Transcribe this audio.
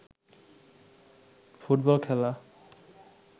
football খেলা